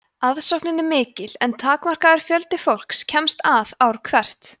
aðsóknin er mikil en takmarkaður fjöldi fólks kemst að ár hvert